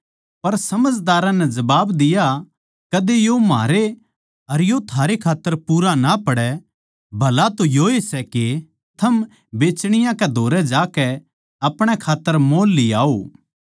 पर समझदारां नै जबाब दिया कदे यो म्हारै अर थारै खात्तर पूरा ना पड़ै भला तो योए सै के थम बेचणीयाँ कै धोरै जाकै अपणे खात्तर मोल लियाओ